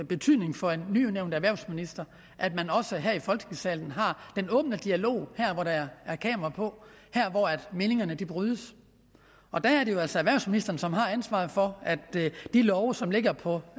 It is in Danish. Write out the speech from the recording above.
betydning for en nyudnævnt erhvervsminister at man også her i folketingssalen har den åbne dialog her hvor der er kamera på her hvor meningerne brydes og der er det jo altså erhvervsministeren som har ansvaret for at de lovforslag som ligger på